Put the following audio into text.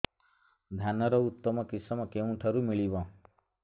ଧାନର ଉତ୍ତମ କିଶମ କେଉଁଠାରୁ ମିଳିବ